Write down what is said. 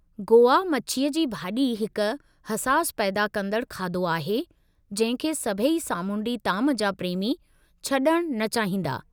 गोवा मछीअ जी भाॼी हिक हसास पैदा कंदड़ु खाधो आहे जंहिं खे सभई सामूंडी ताम जा प्रेमी छॾणु न चाहींदा।